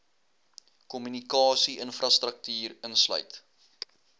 kommunikasie infrastruktuur insluit